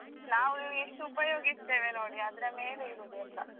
ನಾವ್ ಎಷ್ಟು ಉಪಯೋಗಿಸ್ತೇವೆ ನೋಡಿ ಅದ್ರ ಮೇಲೆ ಇರುದುಯೆಲ್ಲ.